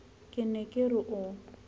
ke ne ke re o